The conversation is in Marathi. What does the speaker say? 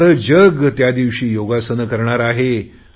सारे जग त्या दिवशी योगासने करणार आहे